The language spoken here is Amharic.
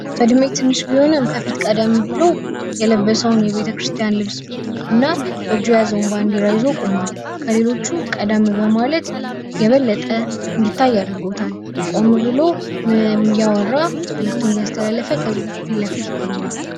በዕድሜ ትንሽ ቢሆንም ከዚህ ቀደም ብሎ የለበሰውን የቤተክርስቲያን ልብስ በእጁ የያዘውን ባንዲራ ይዞ ቆሟል። ከሌሎቹ ቀደም በማለት የበለጠ እንዲታይ አድርጎታል። መልዕክቱን እያስተላለፈ ከህዝቡ ላይ ይገኛል።